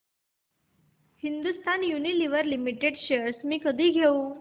Hindustan Unilever Limited shares मी कधी घेऊ